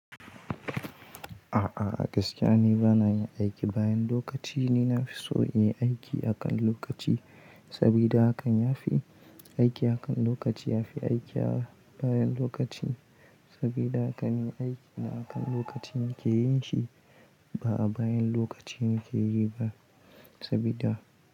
A'a, gaskiya ne bana yin aiki bayan lokaci, ni na fi so in yi aiki akan lokaci sabida hakan ya fi aiki akan lokaci ya fi aiki a bayan lokaci sabida ka min aiki na akan lokaci muke yin shi ba a bayan lokaci muke yi ba sabida.